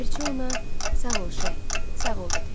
Ləpirçi ona: "Sağ ol, Şeyx, sağ ol!" dedi.